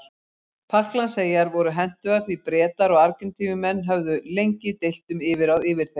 Falklandseyjar voru hentugar því Bretar og Argentínumenn höfðu lengi deilt um yfirráð yfir þeim.